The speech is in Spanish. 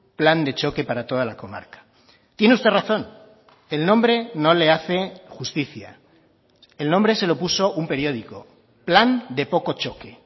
plan de choque para toda la comarca tiene usted razón el nombre no le hace justicia el nombre se lo puso un periódico plan de poco choque